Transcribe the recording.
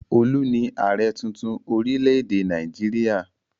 Olu ni ààrẹ̀ tuntun orílẹ̀-èdè Nàìjíríà.